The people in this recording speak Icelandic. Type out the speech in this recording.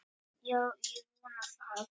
Já, ég vona það.